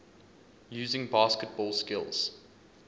using basketball skills